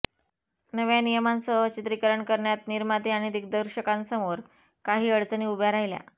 नव्या नियमांसह चित्रीकरण करण्यात निर्माते आणि दिग्दर्शकांसमोर काही अडचणी उभ्या राहिल्या